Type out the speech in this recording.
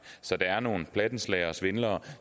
så der er nogle plattenslagere og svindlere